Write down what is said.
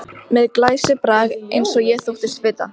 Með glæsibrag eins og ég þóttist vita.